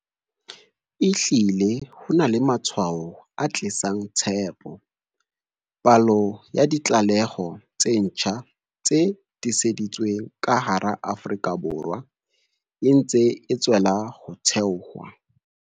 Ehlile ho na le matshwao a tlisang tshepo. Palo ya ditlaleho tse ntjha tse tiiseditsweng ka hara Afrika Borwa e ntse e tswella ho theoha.